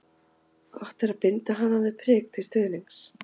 Gott er að binda hana við prik til stuðnings.